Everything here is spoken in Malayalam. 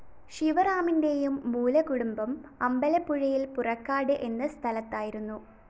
ശിവറാമിന്റെയും മൂലകുടുംബം അമ്പലപ്പുഴയില്‍ പുറക്കാട് എന്ന സ്ഥലത്തായിരുന്നു